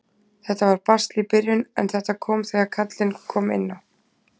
Þetta var basl í byrjun en þetta kom þegar kallinn kom inná.